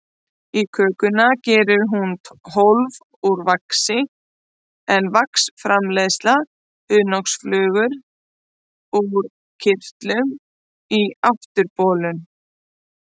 Í kökuna gerir hún hólf úr vaxi, en vax framleiða hunangsflugur úr kirtlum í afturbolnum.